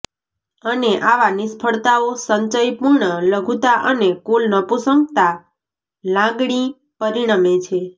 અને આવા નિષ્ફળતાઓ સંચય પૂર્ણ લઘુતા અને કુલ નપુંસકતા લાગણી પરિણમે છે